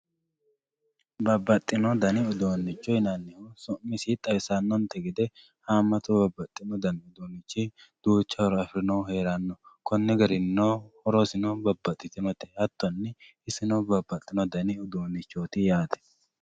Babaxino danni uduunicho yinannihu sumissi xawisanonte geede haamattu babaxino danni duucha hooro afirinohu heranno konni garininno hoorosino babaxitinote haatinni isino babaxitino dani uduunichotti yate